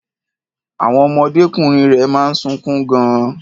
Àwon ọmọdékùnrin rẹ̀ máa ń sunkún gan-an.